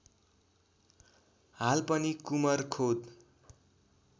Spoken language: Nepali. हाल पनि कुमरखोद